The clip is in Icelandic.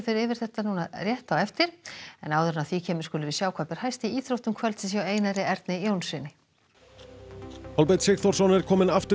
yfir þetta hér rétt á eftir og þá skulum við sjá hvað ber hæst í íþróttum kvöldsins hjá Einar Erni Jónssyni Kolbeinn Sigþórsson er kominn aftur í